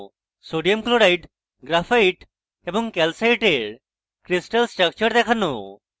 sodium chloride graphite এবং calcite crystal structure দেখানো